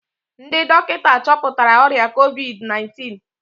Ndị dọkịta chọpụtara ọrịa COVID-19